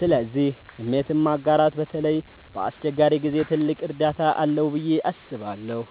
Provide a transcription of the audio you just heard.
ስለዚህ ስሜትን ማጋራት በተለይ በአስቸጋሪ ጊዜ ትልቅ እርዳታ አለው ብዬ አስባለሁ።